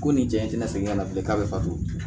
Ko nin jaɲa segin ka na bilen k'a bɛ fato